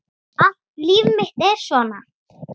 Allt líf mitt er svona!